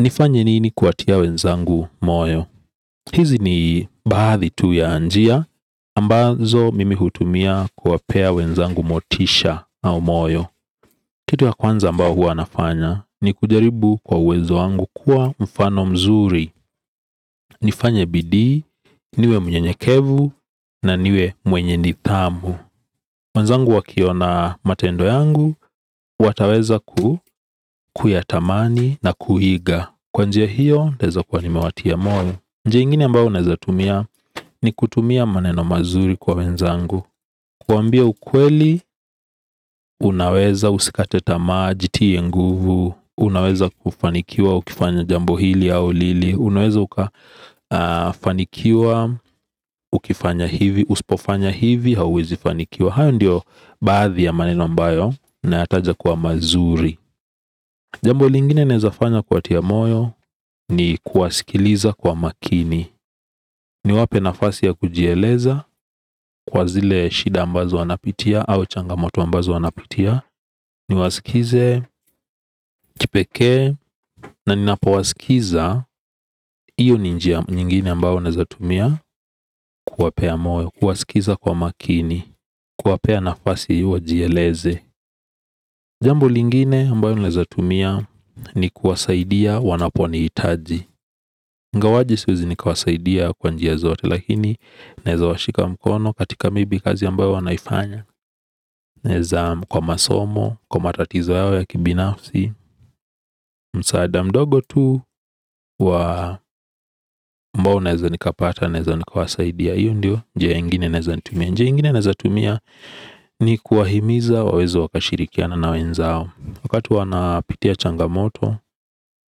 Nifanye nini kuwatia wenzangu moyo? Hizi ni baadhi tu ya njia ambazo mimi hutumia kuwapea wenzangu motisha au moyo. Kitu ya kwanza ambao huwa nafanya ni kujaribu kwa uwezo wangu kuwa mfano mzuri. Nifanye bidii, niwe mnyenyekevu na niwe mwenye nithamu. Wenzangu wakiona matendo yangu wataweza ku kuyatamani na kuiga. Kwa njia hiyo, ntaezo kuwa nimewatia moyo. Njia ingine ambayo unaezatumia ni kutumia maneno mazuri kwa wenzangu. Kuwambia ukweli, unaweza usikate tamaa, jitie nguvu. Unaweza kufanikiwa ukifanya jambo hili au lili. Unaweza ukafanikiwa, ukifanya hivi, uspofanya hivi, hauwezi fanikiwa. Hayo ndio baadhi ya maneno ambayo, nayataja kwa mazuri. Jambo lingine naezafanya kuwatia moyo ni kuwasikiliza kwa makini. Niwape nafasi ya kujieleza kwa zile shida ambazo wanapitia au changamoto ambazo wanapitia ni wasikize, kipeke na ninapo wasikiza. Iyo ni njia nyingine ambayo naeza tumia kuwapea moyo, kuwasikiza kwa makini. Kuwapea nafasi ya wajieleze. Jambo lingine ambayo naeza tumia ni kuwasaidia wanapo nihitaji. Ngawaje siwezi nikawasaidia kwa njia zote. Lakini naeza washika mkono katika may be kazi ambayo wanaifanya. Naeza kwa masomo, kwa matatizo yao ya kibinafsi. Msaada mdogo tu wa ambao naeza nikapata naeza nikawasaidia. Iyo ndio, njia ingine naeza nitumia. Njia ingine naeza tumia ni kuwahimiza waweze wakashirikiana na wenzao. Wakati wanapitia changamoto,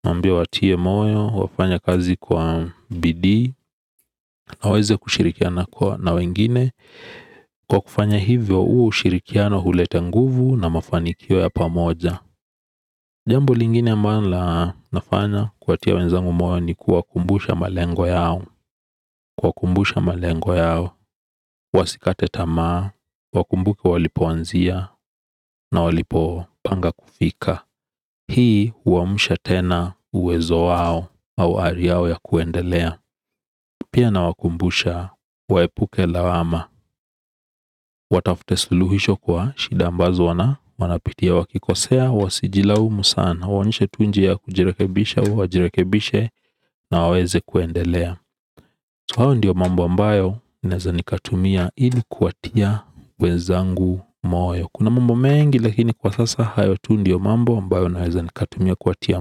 naambia watie moyo, wafanye kazi kwa bidii. Na waweze kushirikiana kwa na wengine. Kwa kufanya hivyo huu ushirikiano hulete nguvu na mafanikio ya pamoja. Jambo lingine ambalo nafanya kuwatia wenzangu moyo ni kuwakumbusha malengo yao. Kuwakumbusha malengo yao. Wasikate tamaa. Wakumbuke walipoanzia. Na walipo panga kufika. Hii huamusha tena uwezo wao. Au ari au ya kuendelea. Pia nawakumbusha. Waepuke lawama. Watafute suluhisho kwa shida ambazo wana w anapitia wakikosea. Wasijilaumu sana. Waonyeshe tu njia ya kujirekebisha. Wajirekebishe. Na waweze kuendelea hayo ndiyo mambo ambayo naeza nikatumia ili kuwatia wenzangu moyo. Kuna mambo mengi lakini kwa sasa hayo tu ndiyo mambo ambayo naeza nikatumia kuwatia.